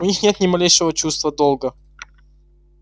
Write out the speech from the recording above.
у них нет ни малейшего чувства долга